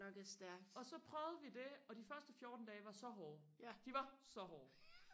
og så prøvede vi det og de første fjorten dage var så hårde de var så hårde